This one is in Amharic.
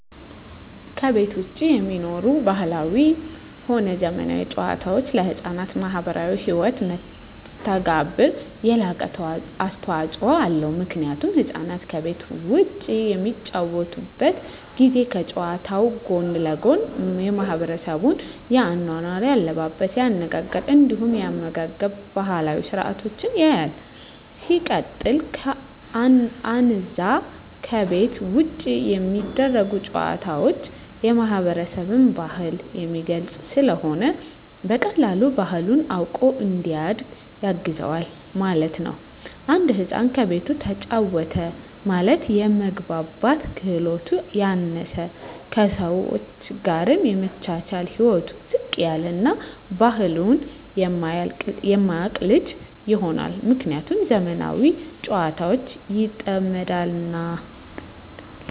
ከቤት ዉጪ የሚኖሩ ባህላዊም ሆነ ዘመናዊ ጨዋታወች ለሕፃናት ማህበራዊ ህይወት መስተጋብር የላቀ አስተዋጾ አለዉ ምክንያቱም ህፃናት ከቤት ዉጪ በሚጫወቱበት ጊዜ ከጨዋታዉ ጎን ለጎን የማሕበረሰቡን የአኗኗር፣ የአለባበስ፤ የአነጋገር እንዲሁም የአመጋገብ ባህላዊ ስርአቶችን ያያል። ሲቀጥል አነዛ ከቤት ዉጪ የሚደረጉ ጨዋታወች የማህበረሰብን ባህል የሚገልጽ ስለሆነ በቀላሉ ባህሉን አዉቆ እንዲያድግ ያግዘዋል ማለት ነዉ። አንድ ህፃን ከቤቱ ተጫወተ ማለት የመግባባት ክህሎቱ ያነሰ፣ ከሰወች ጋር የመቻቻል ህይወቱ ዝቅ ያለ እና ባህሉን የማያቅ ልጅ ይሆናል። ምክንያቱም በዘመናዊ ጨዋታወች ይጠመዳልና።